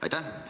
Aitäh!